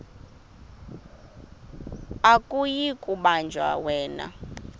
akuyi kubanjwa yena